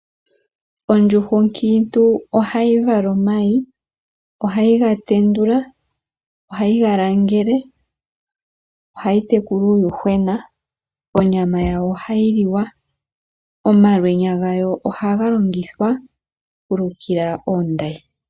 Ondjuhwa onkiintu ohayi vala omayi, ohayi ga tendula, ohayi ga langele, ohayi tekula uuyuhwena. Onyama yayo ohayi liwa. Omalwenya gayo ohaga longithwa oku lukila oondayi.